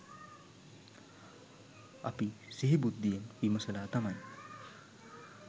අපි සිහි බුද්ධියෙන් විමසලා තමයි